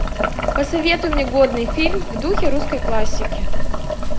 посоветуй мне годный фильм в духе русской классики